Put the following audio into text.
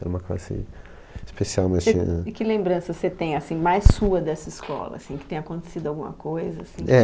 Era uma classe especial, mas tinha... E, e que lembrança você tem, assim, mais sua dessa escola, assim, que tenha acontecido alguma coisa, assim... É,